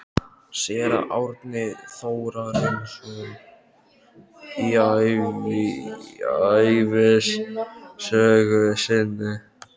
Séra Árni Þórarinsson í ævisögu sinni